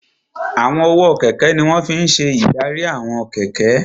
Àwọn ọwọ́ kẹ̀kẹ́ ní wọ́n fi n ṣe ìdarí àwọn kẹ̀kẹ́